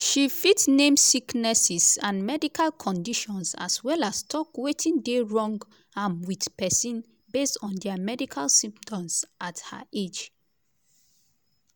she fit name sicknesses and medical conditions as well as tok wetin dey wrong am with pesin based on dia medical symptoms at her age.